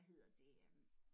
Hvad hedder det øh